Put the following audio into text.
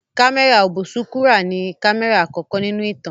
Kámẹ́rà ọ̀bùsúkúrà ni kámẹ́rà àkọ́kọ́ nínú ìtàn